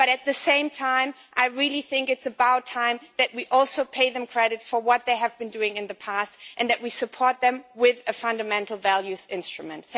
But at the same time, I really think it's about time that we also pay them credit for what they have been doing in the past and that we support them with a fundamental values instrument.